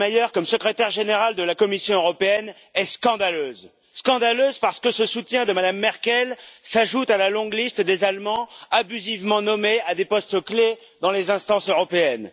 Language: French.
Selmayr comme Secrétaire général de la Commission européenne est scandaleuse. Scandaleuse parce que ce soutien de Mme Merkel s'ajoute à la longue liste des Allemands abusivement nommés à des postes clés dans les instances européennes.